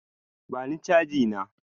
Bani chanji na!